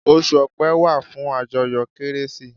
Osù ọ̀pe wà fún àjọyọ̀ kérésì